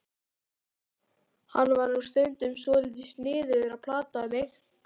Hann var nú stundum svolítið sniðugur að plata mig.